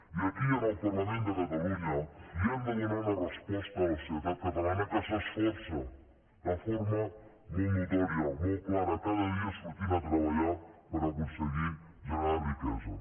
i aquí en el parlament de catalunya li hem de donar una resposta a la societat catalana que s’esforça de forma molt notòria molt clara cada dia sortint a treballar per aconseguir generar riquesa